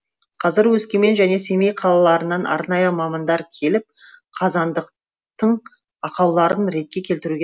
қазір өскемен және семей қалаларынан арнайы мамандар келіп қазандықтың ақауларын ретке келтіруге